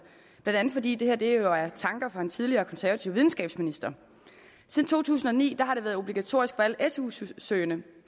blandt andet fordi det her jo er tanker fra en tidligere konservativ videnskabsminister siden to tusind og ni har det været obligatorisk for alle su su søgende